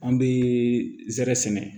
An bɛ zɛrɛ sɛnɛ